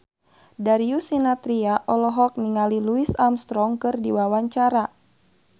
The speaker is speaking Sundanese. Darius Sinathrya olohok ningali Louis Armstrong keur diwawancara